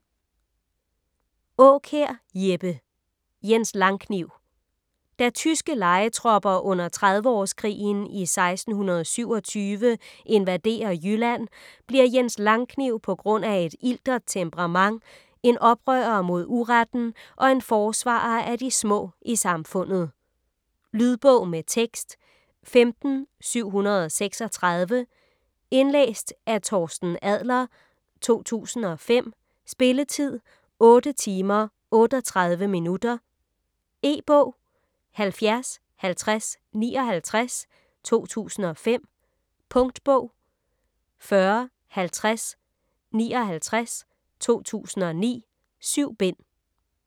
Aakjær, Jeppe: Jens Langkniv Da tyske lejetropper under Trediveårskrigen i 1627 invaderer Jylland bliver Jens Langkniv på grund af et iltert temperament en oprører mod uretten og en forsvarer af de små i samfundet. Lydbog med tekst 15736 Indlæst af Torsten Adler, 2005. Spilletid: 8 timer, 38 minutter. E-bog 705059 2005. Punktbog 405059 2009. 7 bind.